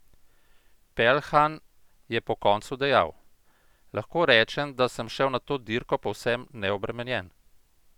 Peljhan je po koncu dejal: "Lahko rečem, da sem šel na to dirko povsem neobremenjen.